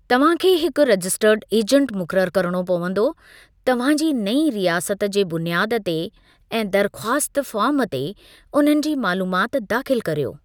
तव्हां खे हिकु रजिस्टर्ड एजेंट मुक़ररु करिणो पंवदो; तव्हां जी नईं रियासत जे बुनियाद ते ऐं दरख़्वास्त फ़ार्म ते उन्हनि जी मालूमात दाख़िलु करियो।